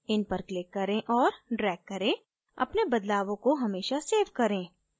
इन पर click करें और drag करें अपने बदलावों को हमेशा सेव करें